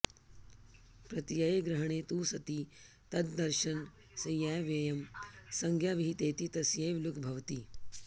प्रत्ययग्रहणे तु सति तददर्शनस्यैवेयं संज्ञा विहितेति तस्यैव लुग् भवति